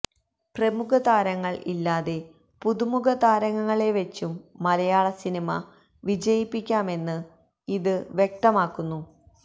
പ്രമുഖ താരങ്ങള് ഇല്ലാതെ പുതു മുഖ താരങ്ങളെ വെച്ചും മലയാള സിനിമ വിജയിപ്പിക്കാമെന്ന് ഇത് വ്യക്തമക്കുന്നു